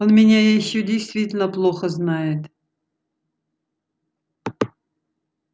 он меня ещё действительно плохо знает